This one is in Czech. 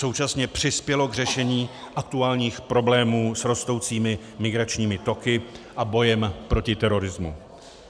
Současně přispělo k řešení aktuálních problémů s rostoucími migračními toky a bojem proti terorismu.